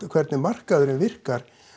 hvernig markaðurinn virkar